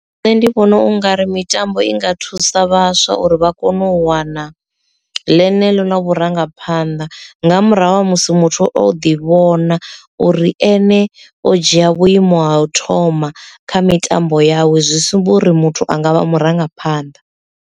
Nṋe ndi vhona ungari mitambo i nga thusa vhaswa uri vha kone u wana ḽeneḽo ḽa vhurangaphanḓa nga murahu ha musi muthu o ḓi vhona uri ene o dzhia vhuimo ha u thoma kha mitambo yawe zwi sumba uri muthu a nga vha murangaphanḓa.